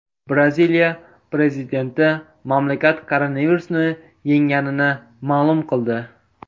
Braziliya prezidenti mamlakat koronavirusni yengganini ma’lum qildi.